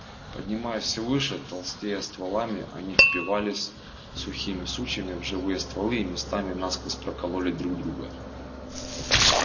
поднимаясь всё выше толстея стволами они впивались сухими сучьями в живые стволы и местами насквозь прокололи друг друга